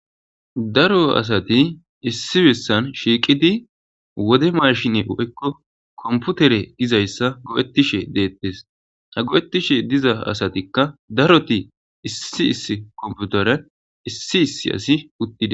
daro asati issi bessan shiiqidi wode mashine o7ekko komputere dizayssa go7ettishe deettes ha go7ettishe diza asatikka daroti issi iss komputere issi issi asi uttidi